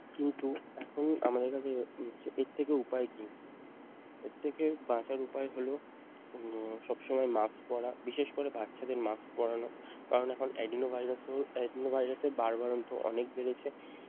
কিন্তু এখন আমাদের কাছে হচ্ছে এর থেকে উপায় কি? এর থেকে বাঁচার উপায় হল উম সবসময় মাস্ক পরা বিশেষ করে বাচ্চাদের মাস্ক পরানো কারণ এখন Adeno ভাইরাসও Adeno বারবাড়ন্ত অনেক বাড়ছে।